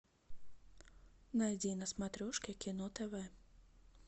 найди на смотрешке кино тв